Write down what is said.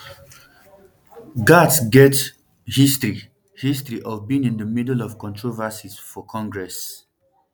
gaetz get um history history of being in di middle of controversies for congress